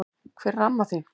Hvar er amma þín?